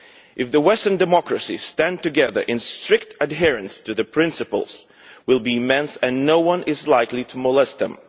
If the Western Democracies stand together in strict adherence to the principles will be immense and no one is likely to molest them.